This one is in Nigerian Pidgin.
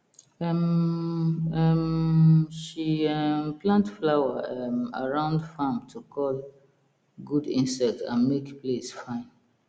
um um she um plant flower um around farm to call good insect and make place fine